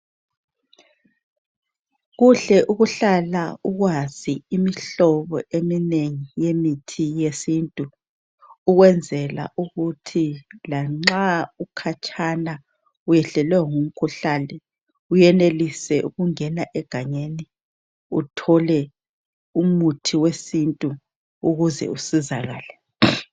Kuhle ukuhlala ukwazi imihlobo eminengi yemithi yesintu .ukwenzela Ukuthi lanxa ukhatshana uyehlelwe ngumkhuhlane, uyenelise ukungena egangeni uthole umuthi wesintu ukuze usizakale .